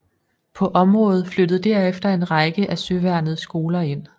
På området flyttede derefter en række af søværnets skoler ind